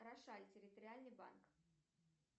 рошаль территориальный банк